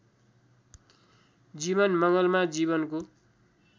जीवन मङ्गलमा जीवनको